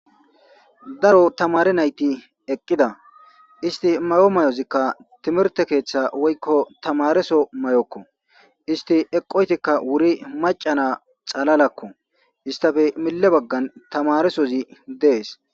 Daro tamare nayti eqqida isti may7o mayozikka timirte keeththa woykko tamareso may7okko isti eqqoytikka wuri macana xalalakko istafe mille baggan tamaresozi dees